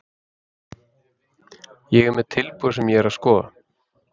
Ég er með tilboð sem ég er að skoða.